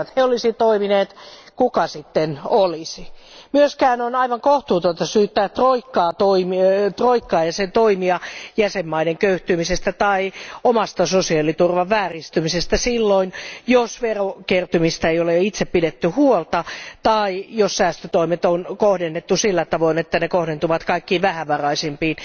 Jolleivät he olisi toimineet, kuka sitten olisi? On myös aivan kohtuutonta syyttää troikkaa ja sen toimia jäsenmaiden köyhtymisestä tai omasta sosiaaliturvan vääristymisestä silloin, kun verokertymistä ei ole itse pidetty huolta tai jos säästötoimet on kohdennettu sillä tavoin, että ne kohdentuvat kaikkein vähävaraisimpiin.